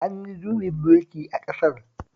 An yi juyin mulki a ƙasar